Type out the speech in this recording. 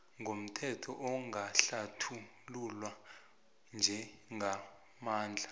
ngomthetho angahlathululwa njengamandla